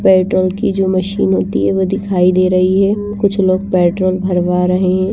Petrol की जो machine होती हैं वो दिखाई दे रही हैं कुछ लोग पेट्रोल भरवा रहे हैं।